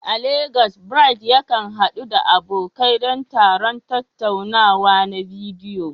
A Legas, Bright yakan haɗu da abokai don taron tattaunawa na bidiyo.